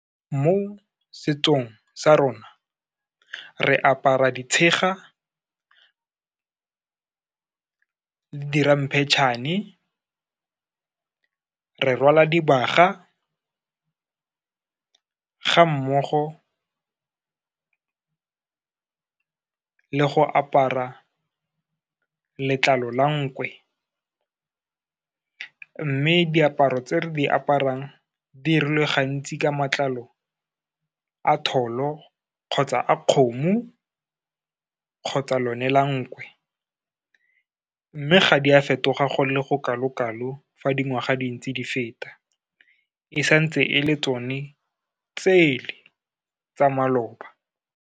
Mo setsong sa rona, re apara ditshega le di ramphetšhane, re rwala dibaga, ga mmogo le go apara letlalo la nkwe. Mme diaparo tse re di aparang, dirilwe gantsi ka matlalo a tholo, kgotsa a kgomo, kgotsa lone la nkwe, mme ga di a fetoga go le go kalo-kalo fa di ngwaga dintsi di feta, e santse e le tsone tsele tsa maloba.